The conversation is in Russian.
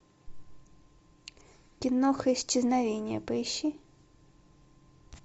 киноха исчезновение поищи